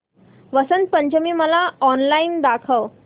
वसंत पंचमी मला ऑनलाइन दाखव